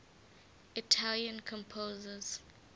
italian composers